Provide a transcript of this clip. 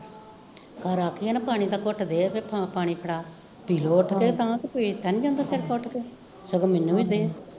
ਘਰ ਆਖੀਏ ਨਾ ਪਾਣੀ ਦਾ ਘੁੱਟ ਦੇ ਫਾਂ ਪਾਣੀ ਫੜਾ ਪਿਲੋ ਉਠ ਕੇ ਤਾਂ ਕਿ ਪੀਤਾ ਨੀ ਜਾਂਦਾ ਨੀ ਤੇਰੇ ਤੋਂ ਉਠ ਕੇ, ਸਗੋਂ ਮੈਨੂੰ ਵੀ ਦੇ